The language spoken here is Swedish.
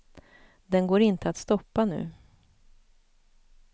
Den går inte att stoppa nu.